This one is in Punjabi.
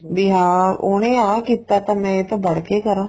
ਬੀ ਹਾਂ ਉਹਨੇ ਆ ਕੀਤਾ ਤਾਂ ਮੈਂ ਇਸ ਤੋਂ ਬੜ ਕੇ ਕਰਾਂ